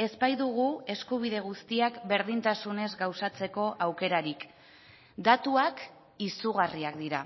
ez baitugu eskubide guztiak berdintasunez gauzatzeko aukerarik datuak izugarriak dira